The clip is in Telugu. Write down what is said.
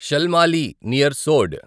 షల్మాలి నియర్ సోడ్